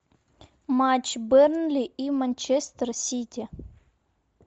матч бернли и манчестер сити